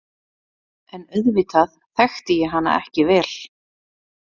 En auðvitað þekkti ég hana ekki vel.